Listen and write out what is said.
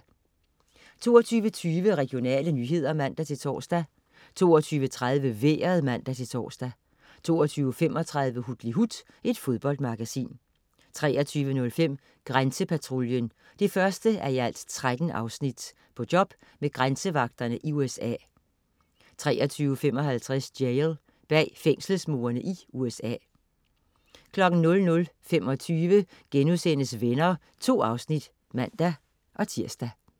22.20 Regionale nyheder (man-tors) 22.30 Vejret (man-tors) 22.35 Hutlihut. Fodboldmagasin 23.05 Grænsepatruljen 1:13. På job med grænsevagterne i USA 23.55 Jail. Bag fængselsmurene i USA 00.25 Venner.* 2 afsnit (man-tirs)